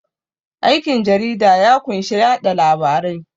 Aikin jarida ya kunshi yaɗa labarai